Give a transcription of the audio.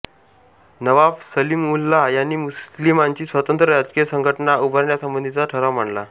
नवाब सलीमउलल्ला यांनी मुस्लिमांची स्वतंत्र राजकीय संघटना उभारण्यासंबंधीचा ठराव मांडला